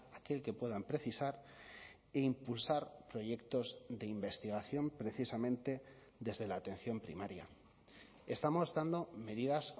aquel que puedan precisar e impulsar proyectos de investigación precisamente desde la atención primaria estamos dando medidas